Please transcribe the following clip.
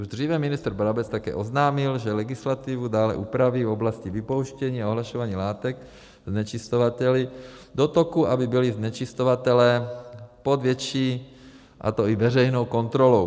Už dříve ministr Brabec také oznámil, že legislativu dále upraví v oblasti vypouštění a ohlašování látek znečišťovateli do toku, aby byli znečišťovatelé pod větší - a to i veřejnou - kontrolou.